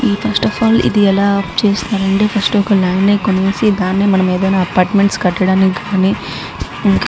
first of all ఇది ఎలా చేస్తారంటే ఫస్ట్ ఒక లాండ్ ని కొనేసి దాన్ని ఒక అపార్ట్మెంట్స్ కట్టడానికి గాని --